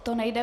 To nejde.